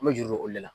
An bɛ juru o de la